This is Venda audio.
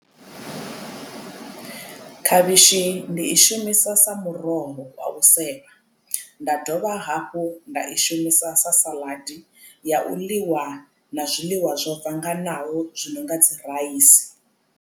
Khavhishi ndi i shumisa sa muroho wa u sevha nda dovha hafhu nda i shumisa sa saḽadi ya u ḽiwa na zwiḽiwa zwo bvanganaho zwi no nga dzi raisi.